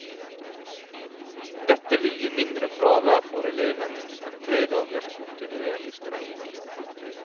Dette vil gi mindre fravær for elevene enn tre dagers kontinuerlig streik.